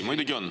Muidugi on.